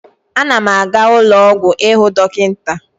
Ana m aga ụlọ ọgwụ ịhụ dọkịta.